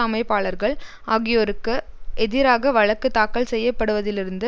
அமைப்பாளர்கள் ஆகியோருக்கு எதிராக வழக்கு தாக்கல் செய்யப்படுவதிலிருந்து